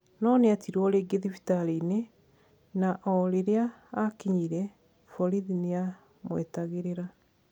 No nietirwo ringi thibitarĩinĩ na o riria akinyire, borithi niamwitagirira.